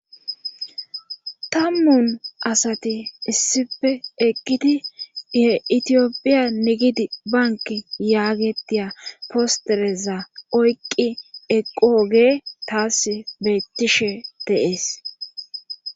tammun asati issife eqqidi ye itiyophiya nigidi bank yaagetiya postereza oyqqi eqooge taas bettishe deees